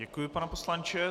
Děkuji, pane poslanče.